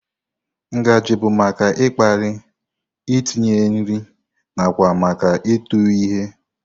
Ngaji bụ maka ịkpali, itinye nri, nakwa maka ịtụ ihe.